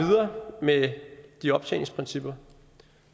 med de optjeningsprincipper